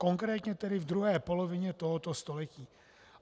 Konkrétně tedy v druhé polovině tohoto století.